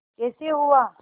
कैसे हुआ